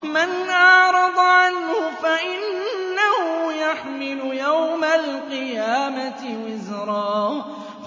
مَّنْ أَعْرَضَ عَنْهُ فَإِنَّهُ يَحْمِلُ يَوْمَ الْقِيَامَةِ وِزْرًا